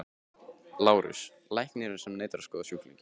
LÁRUS: Læknirinn neitar að skoða sjúklinginn.